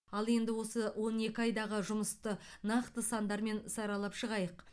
ал енді осы он екі айдағы жұмысты нақты сандармен саралап шығайық